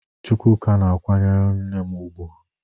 Chukwuka na-akwanyere nne m ugwu.